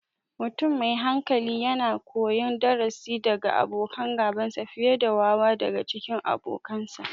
Mutum me hikima yakan koyi darasi daga abokan gabansa, fiye da wawa daga cikin abokansa.